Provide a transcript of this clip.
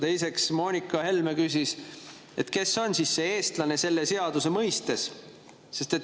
Teiseks, Moonika Helme küsis, kes on eestlane selle seaduse mõistes.